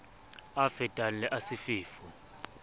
a fetang le a sefefo